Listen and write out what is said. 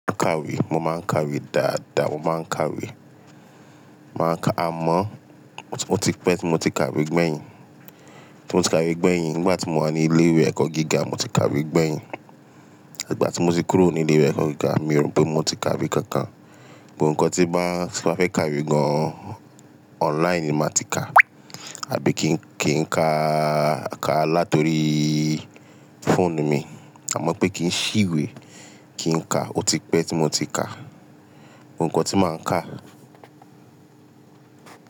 Máa kàwé, mo máa ń kàwé dáadáa, mo máa ń kàwé. Máa kà-- àmọ́ ó ti pẹ́ tí mo ti kàwé gbẹ̀yìn. Tí mo ti kàwé gbẹ̀yìn, nígbà tí mo wà ní ilé ìwé ẹ̀kọ́ gíga mo ti kàwé gbẹ̀yìn. Ẹ̀gbà tí mo ti kúrò ní ilé ìwé ẹ̀kọ́ gíga mi ò rò pé mo ti kàwé kankan. Òun ńkan tí bá tí máa fẹ́ kàwé gan-an, online ni màá ti ká àbí kí ń kí ń ká ká láti oríí fóònù mi. Àmọ́ pé kí ń ṣìwé, kí ń ka, ó ti pẹ́ tí mo ti kà. Òun ńkan tí màá ń kà.